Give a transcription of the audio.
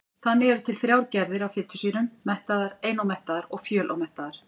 Þannig eru til þrjár gerðir af fitusýrum: mettaðar, einómettaðar og fjölómettaðar.